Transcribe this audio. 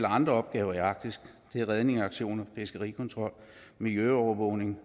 andre opgaver i arktis det er redningsaktioner fiskerikontrol miljøovervågning